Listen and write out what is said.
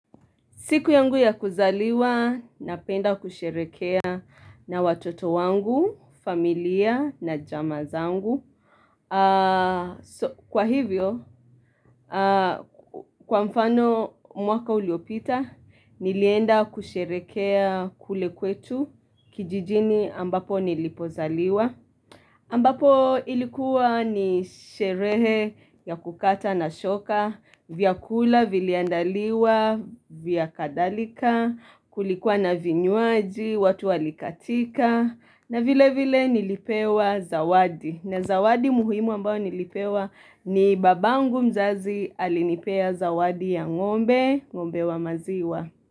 Siku yangu ya kuzaliwa, napenda kusherehekea na watoto wangu, familia na jamaa zangu. Kwa hivyo, kwa mfano mwaka uliopita, nilienda kusherehekea kule kwetu kijijini ambapo nilipozaliwa. Ambapo ilikuwa ni sherehe ya kukata na shoka, vya kula, viliandaliwa, vya kadhalika, kulikuwa na vinywaji, watu walikatika, na vile vile nilipewa zawadi. Na zawadi muhimu ambao nilipewa ni babangu mzazi alinipea zawadi ya ng'ombe, ng'ombe wa maziwa.